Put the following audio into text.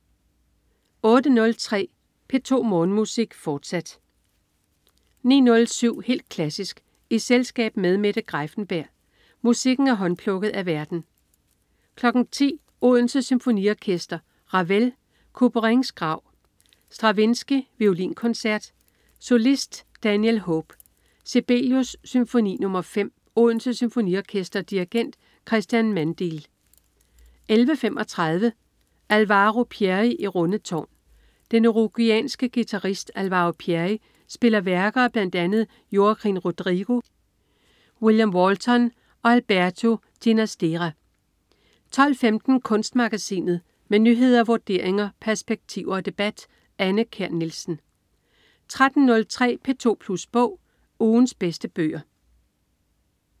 08.03 P2 Morgenmusik, fortsat 09.07 Helt klassisk i selskab med Mette Greiffenberg. Musikken er håndplukket af værten 10.00 Odense Symfoniorkester. Ravel: Couperins grav. Stravinsky: Violinkoncert. Solist: Daniel Hope. Sibelius: Symfoni nr. 5. Odense Symfoniorkester. Dirigent: Cristian Mandeal 11.35 Alvaro Pierri i Rundetaarn. Den uruguayanske guitarist Alvaro Pierri spiller værker af bl.a. Joaquin Rodrigo, William Walton og Alberto Ginastera 12.15 Kunstmagasinet. Med nyheder, vurderinger, perspektiver og debat. Anne Kjær Nielsen 13.03 P2plus bog. Ugens bedste bøger